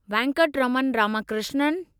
Venkataraman Ramakrishnan